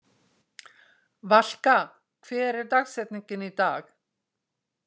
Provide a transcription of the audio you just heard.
Valka, hver er dagsetningin í dag?